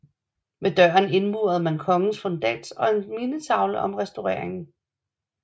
Ved døren indmurede man kongens fundats og en mindetavle om restaureringen